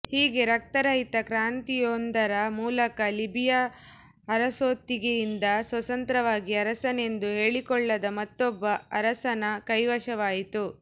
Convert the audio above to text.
ಹೀಗೆ ರಕ್ತರಹಿತ ಕ್ರಾಂತಿಯೊಂದರ ಮೂಲಕ ಲಿಬಿಯಾ ಅರಸೊತ್ತಿಗೆಯಿಂದ ಸ್ವತಂತ್ರವಾಗಿ ಅರಸನೆಂದು ಹೇಳಿಕೊಳ್ಳದ ಮತ್ತೊಬ್ಬ ಅರಸನ ಕೈವಶವಾಯಿತು